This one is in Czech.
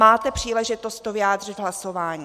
Máte příležitost to vyjádřit hlasováním.